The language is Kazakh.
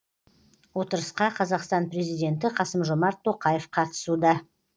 отырысқа қазақстан президенті қасым жомарт тоқаев қатысуда